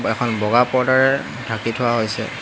আৰু এখন বগা পৰ্দাৰ ঢাকি থোৱা হৈছে।